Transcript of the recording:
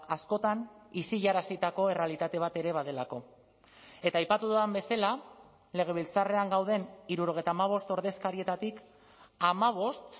askotan isilarazitako errealitate bat ere badelako eta aipatu dudan bezala legebiltzarrean gauden hirurogeita hamabost ordezkarietatik hamabost